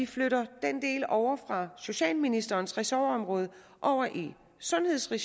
flytte den del ovre fra socialministerens ressortområde over i sundhedsregi